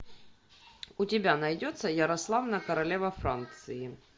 у тебя найдется ярославна королева франции